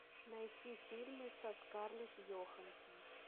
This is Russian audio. найти фильмы со скарлетт йоханссон